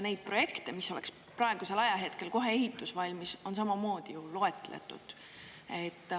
Neid projekte, mis oleks praegusel ajahetkel kohe ehitus valmis, on samamoodi loetletud.